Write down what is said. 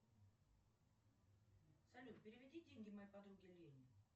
салют переведи деньги моей подруге лене